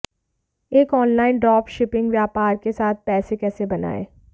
एक online drop shipping व्यापार के साथ पैसे कैसे बनाएँ